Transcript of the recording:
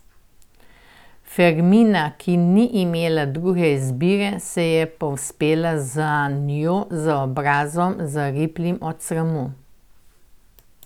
Fermina, ki ni imela druge izbire, se je povzpela za njo, z obrazom, zariplim od sramu.